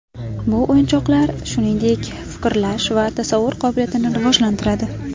Bu o‘yinchoqlar, shuningdek, fikrlash va tasavvur qobiliyatini rivojlantiradi.